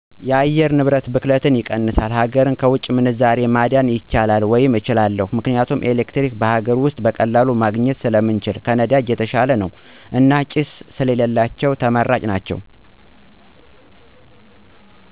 የአየር ንብረት ብክለትን ይቀንሳል፣ ሀገርን ከውጭ ምንዛሬ ማዳን ይቻላል ወይም እችላለሁ። ምክንያቱም ኤሌክትሪክ በሀገር ውስጥ በቀላሉ ማግኜት ስለምንችል ከነዳጅ የተሻለ ነው። እና ጭስ ስለሌላቸው ተመራጭ ናቸው።